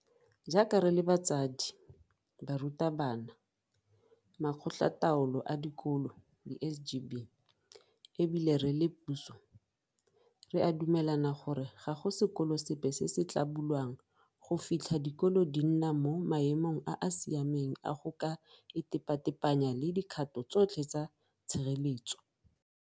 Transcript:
Jaaka re le batsadi, barutabana, Makgotlataolo a Dikolo di-SGB e bile re le puso, re a dumelana gore ga go sekolo sepe se se tla bulwang go fitlha dikolo di nna mo maemong a a siameng a go ka itepatepanya le dikgato tsotlhe tsa tshireletsego.